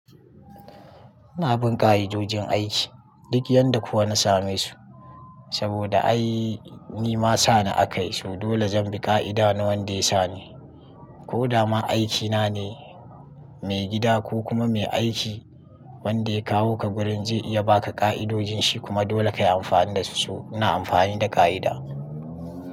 Ina bin ƙa'idojin aiki duk yanda kuwa na same su. Saboda ai ni ma sa ni aka yi su. Dole zan bi ƙa'ida na wanda ya sa ni. Ko dama aikina ne, mai gida ko kuma mai aiki wanda ya kawo ka wurin zai iya ba ka ƙa'idojin shi kuma dole kayi amfani dasu. So ina amfani da ƙa'ida.